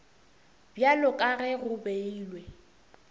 bjalo ka ge go beilwe